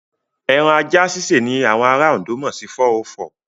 Ẹran ajá sísè ni àwọn ará Ondo mọ̀ sí 404.